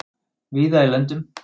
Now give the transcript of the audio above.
víða í löndum